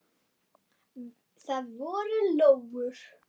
Það voru lóur.